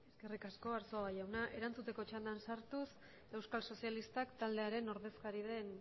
eskerrik asko arzuaga jauna erantzuteko txandan sartuz euskal sozialistak taldearen ordezkaria den